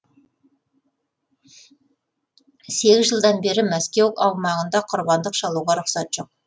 сегіз жылдан бері мәскеу аумағында құрбандық шалуға рұқсат жоқ